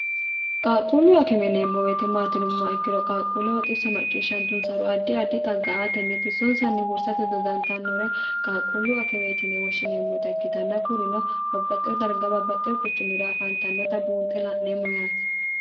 qaaqquullu akimeneemmo woyeete maati yinummoha ikkiro qaaqquulleho xisso macciishshantunsoro addi addi xagga aateni xissonsanni huursate dodantannore qaaqquullu akimeeti yine woshshineemmota ikkitanna kurino babbaxxeo darga babbaxxeo quchumira afaantannota buunxe la'neemmo yaate